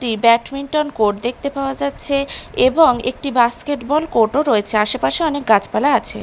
একটি badminton court দেখতে পাওয়া যাচ্ছে এবং একটি বাস্কেটবল কোট -ও রয়েছে আশেপাশে অনেক গাছপালা আছে।